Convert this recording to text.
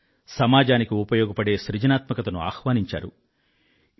సమాజానికి ఉపయోగపడే సృజనాత్మకతను ఆహ్వానించడమైంది